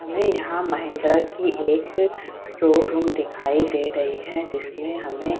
हमे यहाँ महिंद्रा की एक शोरूम दिखाई दे रही है जिसमे हमे --